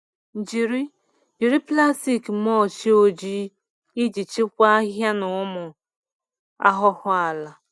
Jiri Jiri plastic mulch ojii iji chịkwaa ahịhịa na ụmụ ahụhụ ala.